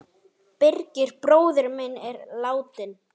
Birgir bróðir minn er látinn.